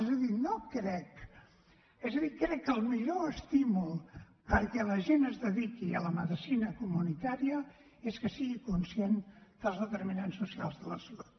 és a dir crec que el millor estímul perquè la gent es dediqui a la medicina comunitària és que sigui conscient dels determinants socials de la salut